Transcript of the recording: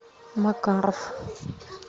макаров